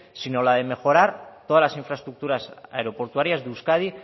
sino la de mejorar todas las infraestructuras aeroportuarias de euskadi